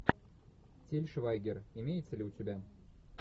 тиль швайгер имеется ли у тебя